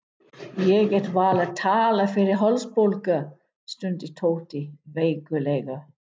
Ég get varla talað fyrir hálsbólgu, stundi Tóti veiklulega.